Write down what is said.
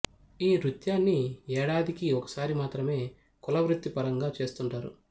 ఈ నృత్యాని ఏడాదికి ఒక సారి మాత్రమే కుల వృత్తి పరంగా చేస్తుంటారు